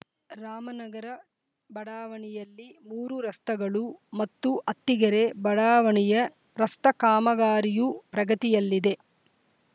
ರಾಮನಗರ ಬಡಾವಣೆಯಲ್ಲಿ ಮೂರು ರಸ್ತಗಳು ಮತ್ತು ಅತ್ತಿಗೆರೆ ಬಡಾವಣೆಯ ರಸ್ತ ಕಾಮಗಾರಿಯು ಪ್ರಗತಿಯಲ್ಲಿದೆ